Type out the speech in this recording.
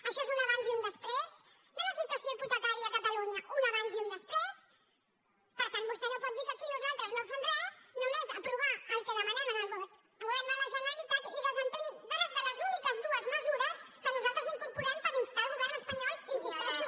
això és un abans i un després de la situació hipotecària a catalunya un abans i un després per tant vostè no pot dir que aquí nosaltres no fem res només aprovar el que demanem al govern de la generalitat i desentendre’s de les úniques dues mesures que nosaltres incorporem per instar el govern espanyol hi insisteixo